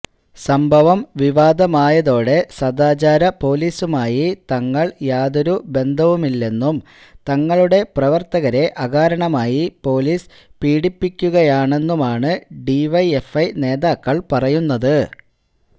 സംഭവം വിവാദമായതോടെ സദാചാര പൊലീസുമായി തങ്ങൾ യാതൊരു ബന്ധവുമില്ളെന്നും തങ്ങളുടെ പ്രവർത്തകരെ അകാരണമായി പൊലീസ് പീഡിപ്പിക്കുകയാണെന്നുമാണ് ഡിവൈഎഫ്ഐ നേതാക്കൾ പറയുന്നത്